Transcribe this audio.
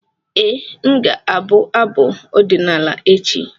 Ee, m ga-abụ abụ ọdịnala echi.